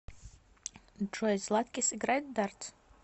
джой златкис играет в дартс